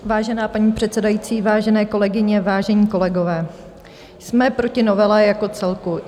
Vážená paní předsedající, vážené kolegyně, vážení kolegové, jsme proti novele jako celku.